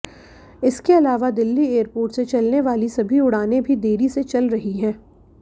इसके अलावा दिल्ली एयरपोर्ट से चलने वाली सभी उड़ानें भी देरी से चल रही हैं